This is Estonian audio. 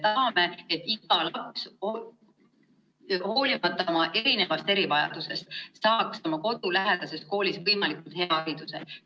Me tahame, et iga laps, hoolimata oma erivajadusest, saaks kodulähedases koolis võimalikult hea hariduse.